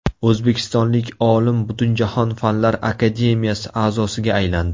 O‘zbekistonlik olim Butunjahon Fanlar akademiyasi a’zosiga aylandi.